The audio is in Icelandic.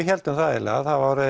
héldum það eiginlega það